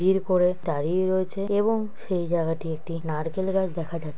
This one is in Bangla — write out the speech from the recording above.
এরপরে দাঁড়িয়ে রয়েছে এবং সেই জায়গাটিতে একটি নারকেল গাছ দেখা যা--